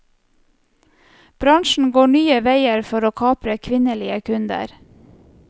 Bransjen går nye veier for å kapre kvinnelige kunder.